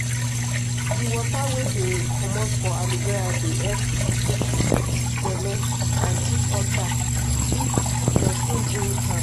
di water wey dey comot for aloe vera dey help cook belle and treat ulcer if person drink am.